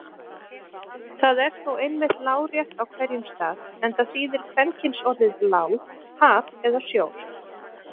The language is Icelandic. Það er þó einmitt lárétt á hverjum stað enda þýðir kvenkynsorðið lá haf eða sjór.